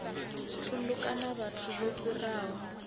thundu kana vhathu vho fhiraho